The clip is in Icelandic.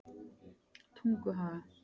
Tunguhaga